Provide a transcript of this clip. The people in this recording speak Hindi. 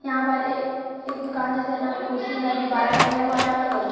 यहाँ पर ए एक दुकान जैसा है यहाँ पर कुर्सी है गुब्बारा टांगा हुआ है यहाँ पर पोस्टर --